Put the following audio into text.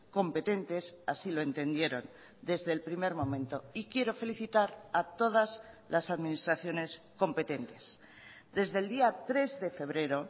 competentes así lo entendieron desde el primer momento y quiero felicitar a todas las administraciones competentes desde el día tres de febrero